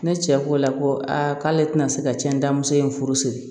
Ne cɛ ko la ko aa k'ale tɛna se ka cɛn muso in furu siri